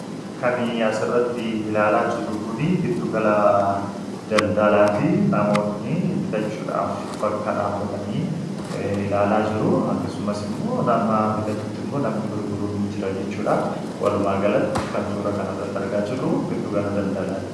Kan as irratti ilaallaa jiruu kuni gidduu gala daldalatti. Namoonni bitachuuf bakka dhabbatani ilaalla jiru. Akkasumaas immoo nama bitatuutti namni gurguruu jira jechuudha. Walumagalatti kan suuraa kana irratti argaa jiru giduu gala daldalatti